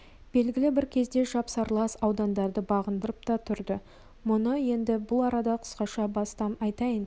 белгілі бір кезде жапсарлас аудандарды бағындырып та тұрды мұны енді бұл арада қысқаша бастан айтайын